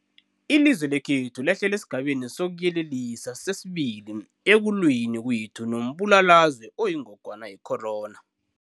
Ilizwe lekhethu lehlele esiGabeni sokuYelelisa sesi-2 ekulweni kwethu nombulalazwe oyingogwana ye-corona.